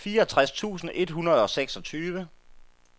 fireogtres tusind et hundrede og seksogtyve